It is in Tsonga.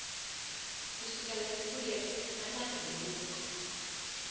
kusukela siku leri nawu lowu